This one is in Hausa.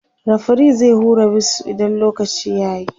referee zai hura wisu idan lokaci yayi